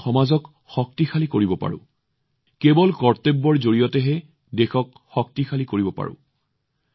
আমি সমাজক শক্তিশালী কৰিব পাৰোঁ কেৱল কৰ্তব্যৰ পথত আগবাঢ়িহে দেশক শক্তিশালী কৰিব পাৰোঁ